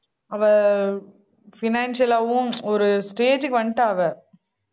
அவ financial ஆவும் ஒரு stage க்கு வந்துட்டா அவ